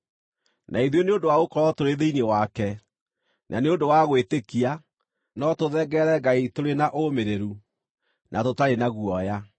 Na ithuĩ nĩ ũndũ wa gũkorwo tũrĩ thĩinĩ wake, na nĩ ũndũ wa gwĩtĩkia, no tũthengerere Ngai tũrĩ na ũmĩrĩru, na tũtarĩ na guoya.